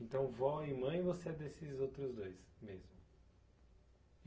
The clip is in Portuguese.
Então, vó e mãe, você é desses outros dois mesmo?